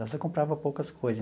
Então você comprava poucas coisas.